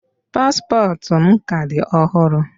Paspọtụ m ka dị ọhụrụ.